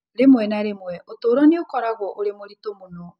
Rĩmwe na rĩmwe, ũtũũro nĩ ũkoragwo ũrĩ mũritũ mũno.